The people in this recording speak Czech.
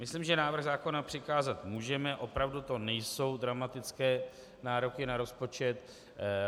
Myslím, že návrh zákona přikázat můžeme, opravdu to nejsou dramatické nároky na rozpočet.